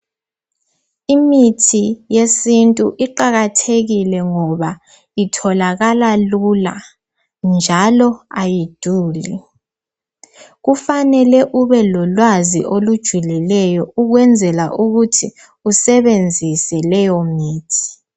Imithi yesintu iqakathekile ngoba itholakala lula njalo ayiduli. Kufanele ubelolwazi olujulileyo ukwenzela ukuthi usebenzise leyomithi.